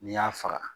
N'i y'a faga